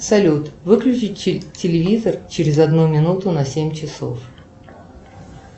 салют выключить телевизор через одну минуту на семь часов